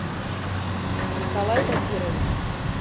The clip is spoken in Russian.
николай тагирович